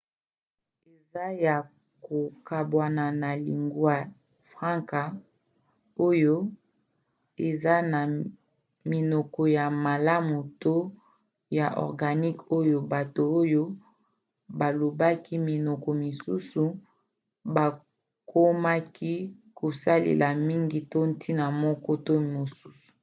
eza ya kokabwana na lingua francas oyo eza na minoko ya malamu to ya organique oyo bato oyo balobaki minoko mosusu bakomaki kosalela mingi to ntina moko to mosusu